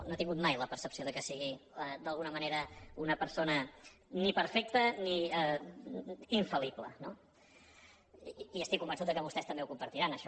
no he tingut mai la percepció que sigui d’alguna manera una persona ni perfecte ni infal·lible no i estic convençut que vostès també ho compartiran això